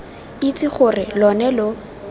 itse gore lo ne lo